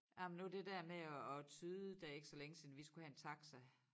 Ej men nu det der med at at tyde det er ikke så længe siden vi skulle have en taxa